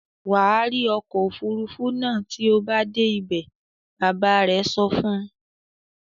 "Wà rí ọkọ̀-òfurufú náà tí o bá dé ibẹ̀!" Bàbá rẹ̀ sọ fún un.